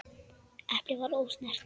Eplið var ósnert.